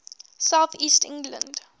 south east england